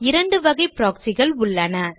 இரண்டு வகை proxy கள் உள்ளன